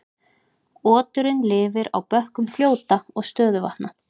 Oturinn lifir á bökkum fljóta og stöðuvatna.